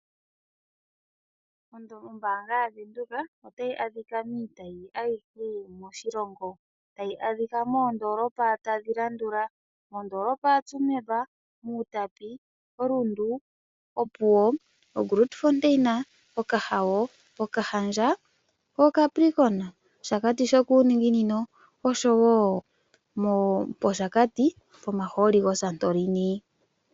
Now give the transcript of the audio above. Ombaanga yaVenduka otayi adhika miitayi ayihe moshilongo. Tayi adhika moondolopa tadhi landula: mondoolopa ya Tsumeb, mOutapi, oRundu, Opuwo, oGrootfontein, Okahao, Okahandja, oCapricorn, Oshakati shokuuninginino oshowo pOshakati pomahooli goSantorini.